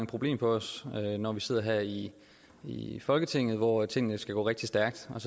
problem for os når vi sidder her i i folketinget hvor tingene skal gå rigtig stærkt og